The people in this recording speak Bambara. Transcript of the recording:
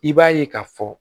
I b'a ye ka fɔ